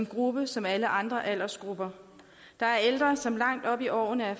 gruppe som alle andre aldersgrupper der er ældre som langt op i årene er